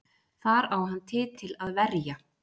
Þar á hann titil að verja